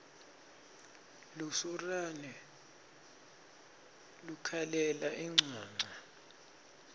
lusurane lukhalela incwancwa